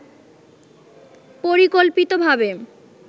পরিকল্পিতভাবে